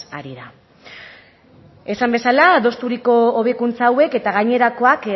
ari da esan bezala adostuko hobekuntza hauek eta gainerakoak